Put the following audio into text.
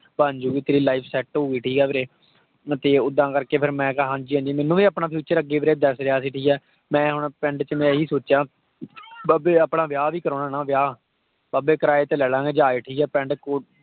ਬਣ ਜੂ ਗੀ ਤੇਰੀ life set ਹਊਗੀ, ਠੀਕ ਆ ਵੀਰੇ। ਤੇ ਓਦਾਂ ਕਰ ਕੇ ਮੈਂ ਕਿਹਾ, ਹਾਂਜੀ ਹਾਂਜੀ, ਮੈਨੂੰ ਵੀ ਆਪਣਾ future ਅੱਗੇ ਵੀਰੇ ਦਿੱਖ ਰਿਹਾ ਸੀ, ਠੀਕ ਹੈ। ਮੈ ਹੁਣ ਪਿੰਡ ਵਿਚ ਮੈਂ ਇਹੀ ਸੋਚਿਆ, ਬਾਬੇ ਆਪਣਾ ਵਿਆਹ ਵੀ ਕਰਾਉਣਾ ਨਾ ਵਿਆਹ, ਬਾਬੇ ਕਿਰਾਏ ਤੇ ਲੈ ਲਾਂਗੇ ਜਹਾਜ਼, ਠੀਕ ਹੈ। ਪਿੰਡ,